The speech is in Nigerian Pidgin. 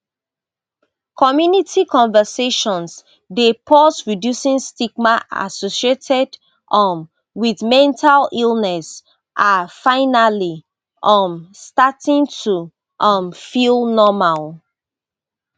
community conversations dey pause reducing stigma associated um wit mental illness are finally um starting to um feel normal